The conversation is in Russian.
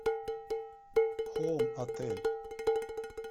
хоум отель